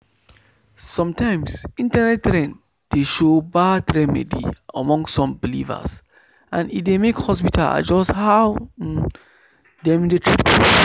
sometimes internet trend dey show bad remedy among some believers and e dey make hospital adjust how um dem dey treat people.